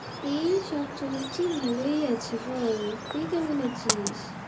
এই সব চলছে ভালোই আছি বল, তুই কেমন আছিস?